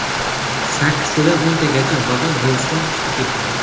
Sakkiztadan o‘ntagacha vagon relsdan chiqib ketgan.